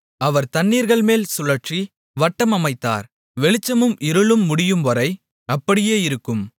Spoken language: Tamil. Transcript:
அவர் தண்ணீர்கள்மேல் சுழற்சி வட்டம் அமைத்தார் வெளிச்சமும் இருளும் முடியும்வரை அப்படியே இருக்கும்